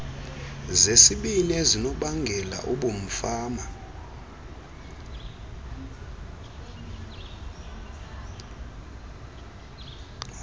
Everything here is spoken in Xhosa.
zesibini ezinobangela ubumfama